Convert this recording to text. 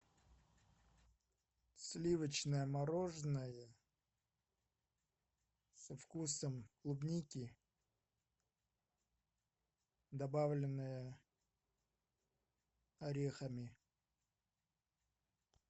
сливочное мороженое со вкусом клубники добавленное орехами